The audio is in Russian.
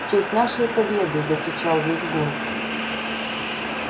в честь нашей победы закричал визгун